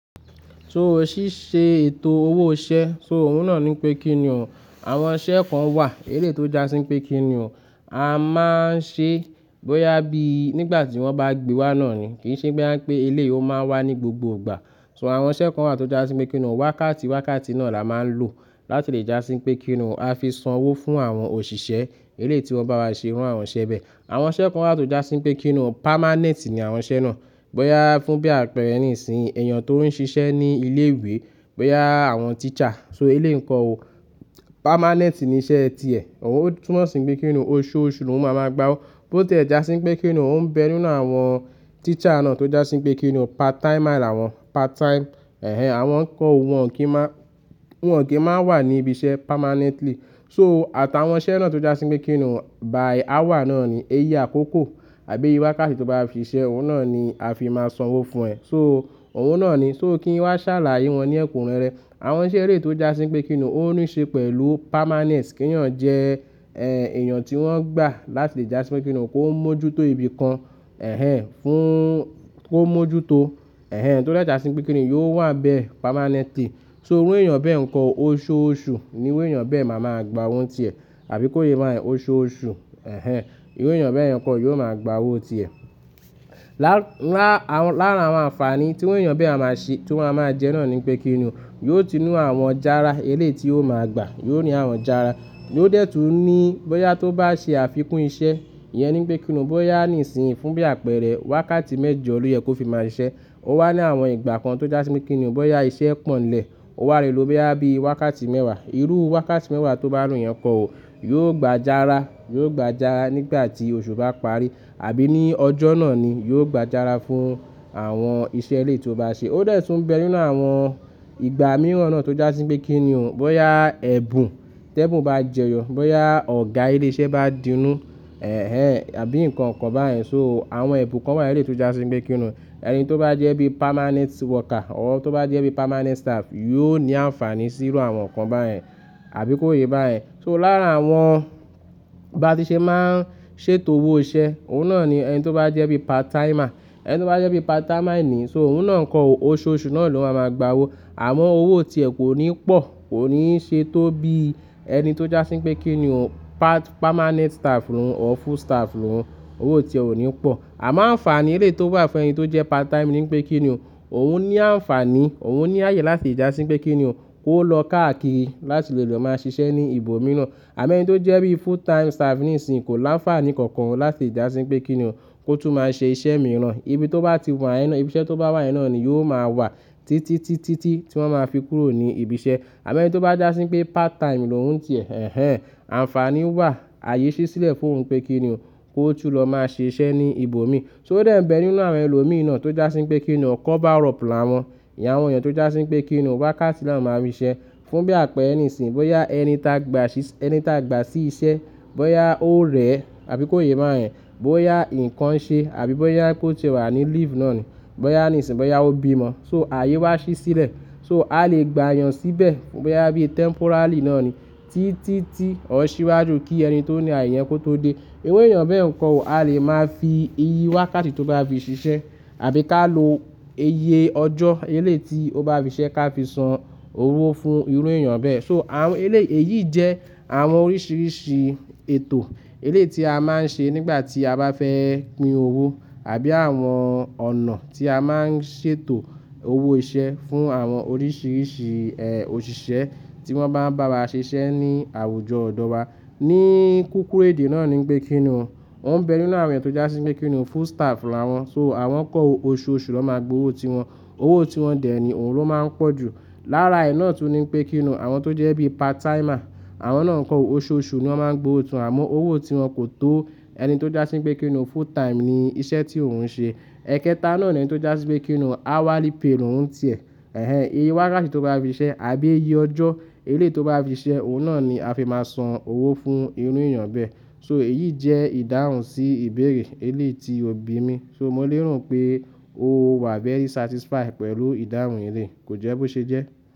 So o ṣíṣe ètò owó iṣẹ́, so òun náà ní pé kíni ò. Àwọn iṣẹ́ kan wà eléyi tò já sí wípé kín ni ò, a máa ń ṣe bóyá bí nígbà tí wọ́n bá gbé wá náà ni. Kì n ṣe pé boya ń pè eléyi ò máa wà ní gbogbo ìgbà. So àwọn iṣẹ́ kan wà tó já sí wípé kín ni ò, wákàtí wákàtí náà la máa ń lò láti lè já sí wípé kí ni ò a fi san owó fún àwọn òṣìṣẹ́ eléyi tí wọ́n bá wá ṣe irú àwọn iṣẹ́ bẹ́ẹ̀. Àwọn iṣẹ́ kan wà tó já sí wípé kín ni ò, permanent ní àwọn iṣẹ́ náà. Bóyá fún bí àpẹẹrẹ nísinyí, èèyàn tó ń ṣiṣẹ́ ní ilé ìwé, bóyá àwọn teacher. So eléyi n ko ó, permanent ni iṣẹ́ ti ẹ̀. Òun ó túnmọ̀ sí n pé kíni ò, oṣooṣù lóun máa máa gba owó. Bó tiẹ́ já sí wípé kín ni ò o ń bẹ nínú àwọn teacher náà tó já sí wípé kín ni ò, part timer làwọn. Part time, àwọn ń kọ́ o, wọ́n kì í máa, wọ́n ò kí máa wà ní ibi iṣẹ́ permanently. So àtàwọn iṣẹ́ náà tó já sí wípé kín ni ò by hour náà ni, iye àkókò àbí iye wákàtí tó bá fi ṣiṣẹ́, òun náà ni a fi máa san owó fún ẹ̀. So òun náà ni, so kí n wá ṣàlàyé wọn ní ẹ̀kúnrẹ́rẹ́. Àwọn iṣẹ́ eléyi tò já sí wípé kí ni ò, ó ń ní ṣe pẹ̀lú permanence. Kí eeyàn jẹ́, èèyàn tí wọ́n gbà láti lè já sí wípé kí ni ò kó mójútó ibi kan, fún kó mójútó, tó de jà sí wípé kí ni ò yoo wà n bẹ permanently. So irú èèyàn bẹ́ẹ̀ ǹ ko o, oṣooṣù ni irú èèyàn bẹ́ẹ̀ máa máa gba owó n ti ẹ̀. Àbí kó yé bayen, oṣooṣù, ni irú èèyàn bẹ́yẹ̀n n ko o yóò máa gba owó ti ẹ̀. Lá-lá-lára àwọn àǹfààní tí irú èèyàn bẹ́ẹ̀ maa máa ṣe, tọ́ maa máa jẹ náà ni pé kí ni ò, yóò ti ni àwọn jára eléyi ti yóò máa gba, yóò ní àwọn jára. Yóò dẹ̀ tún ní bóyá tó bá ṣe àfikún iṣẹ́, ìyẹn ni pé kí ni ò, bóyá níìsínyi fún bí àpẹẹrẹ wákàtí mẹ́jọ ló yẹ kó fi máa ṣiṣẹ́. Ó wà ní àwọn ìgbà kan tó já sí mi kí ni ò, bóyá iṣẹ́ pọ̀ n lẹ̀, ó wà lé lo boya bií wákàtí mẹ́wàá. Irú wákàtí mẹ́wàá tó bá lo yẹn n kọ̀ o, yóò gba jára, yóò gba jára nígbà tí oṣù bá parí àbí ní ọjọ́ náà ni, yóò gba jára fún àwọn iṣẹ́ eléyi tò bá ṣe. Ó dẹ̀ tún ń bẹ nínú àwọn ìgbà mìíràn náà tó já sí wípé kí ni ò, bóyá ẹ̀bùn, tẹ̀bùn bá jẹyọ, bóyá ọ̀gá iléṣẹ́ bá dínú, àbí nǹkan kan báyen. So àwọn ẹ̀bùn kan wà eléyi tò já sí wípé kí ni ò, ẹni tó bá jẹ́ bí permanent worker or tó bá jẹ́ bí permanent staff, yóò ní àǹfààní sí irú àwọn nǹkan báyen. Àbí kó yé bá yẹn. So lára àwọn bá ti ṣe máa ń ṣètò owó iṣẹ́, òun náà ni ẹn tó bá jẹ́ bí part timer, ẹni tó bá jẹ́ bí part timer ni, so òun náà n ko o oṣooṣù náà ló máa máa gba owó. Àmọ owó ti ẹ̀ kò ní pọ̀, kò ní ṣe tó bí ẹni tó já sí wípé kí ni ò permanent staff lóhùn or full staff lóhùn. Owó ti ẹ̀ ò ní pọ̀. Àmọ́ àǹfààní eléyi tò wà fún ẹni tó jẹ́ part time ní ń pé kí ni ò, òun ní àǹfààní, òun ní ààyè láti le já sí wípé kí ni ò kó lọ káàkiri láti lè lọ máa ṣiṣẹ́ ní ibòmíràn. Àmo ẹn tó jẹ́ bí full time staff níisìnyí kò láǹfààní kankan láti já sí wípé kí ni ò kó tún máa ṣe iṣẹ́ mìíràn. Ibi tó bá ti wa yẹn náà, ibi iṣẹ́ tó bá wà yẹn náà ni yóò máa wà títí tí tí tí wọ́n máa fi kúrò ní ibi iṣẹ́. Àmo ẹni tó bá já sí wípé part time lóhùn ti ẹ̀, àǹfààní wà, ààyè ṣí sílẹ̀ fún òun pé kí ni ò kó tún lọ máa ṣe iṣẹ́ ní ibòmí. So ó dẹ̀ ń bẹ nínú àwọn ẹlòmí naa tó já sí wípé kí ni ò, cover up làwọn. Ìyẹn àwọn èèyàn tó já sí wípé kí ni ò wákàtí ni áwon máa ń fi ṣiṣẹ́ fún bí àpẹẹrẹ nísìnyí, bóyá ẹni ta gba ṣíṣe, ẹni ta gba sí iṣẹ́, bóyá ó rẹ̀ àbí kó yé báyẹ̀n, bóyá nǹkan ṣe àbí bóyá pe o tiẹ́ wà ní leave náà ni, bóyá níìsínyi, bóyá ó bímọ. So ààyè wá ṣí sílẹ̀. So a lè gba èèyàn síbẹ̀ bóyá bí temporarily náà ni títí tí or ṣìwájú kí ẹni tó ní ààyè yẹ́n kó tó dé. Irú èèyàn bẹ́ẹ̀ nǹkan ò, a lè máa fi iye wákàtí tó bá fi ṣiṣẹ́ àbí ká lo iye ọjọ́ eléyi tí ó bá fi ṣisẹ́ ká fi san owó fún irú èèyàn bẹ́ẹ̀. So àwọn eléyi èyí jẹ́ àwọn oríṣiiríṣii ètò eléyi tí a máa ń ṣe nígbà tí a bá fẹ́ pín owó àbí àwọn ọ̀nà tí a máa ń ṣètò owó iṣẹ́ fún àwọn oríṣiiríṣii, òṣìṣẹ́ tí wọ́n bá ń bá wa ṣiṣẹ́ ní àwùjọ ọ̀dọ̀ wa. Ní kúkúrú èdè náà ni wípé kí ni ò. Ó ń bẹ nínú àwọn eeyan tó já sí wípé kí ni ò full staff lawon. So àwọn ń kọ́ oṣooṣù na máa gba owó tí wọn. Owó tí wọn dẹ̀ ní òun ló máa ń pọ̀ jù. Lára ẹ̀ náà tún ní pé kí ni ò àwọn tó jẹ́ bí part timer, àwọn náà n ko o oṣooṣù ni wọ́n máa ń gba owo tiwon àmọ́ owó tí wọn kò tó ẹni tó já sí wípé kí ni ò full time ní iṣẹ́ tí òun ń ṣe. Ẹ̀kẹta náà ni ẹn tó já sí wípé kí ni ò hourly pay lóhùn ti ẹ̀. Iye wákàtí tó bá fi ṣiṣẹ́ àbí iye ọjọ́ eléyi tò bá fi siṣẹ́, òun náà ni a fi máa san owó fún irú èèyàn bẹ́ẹ̀. So èyí jẹ́ ìdáhùn sí ìbéèrè eléètò tí òbí mi. So mo léro pé o wà very satisfied pẹ̀lú ìdáhùn eléyi. Kò jẹ́ bó ṣe jẹ́?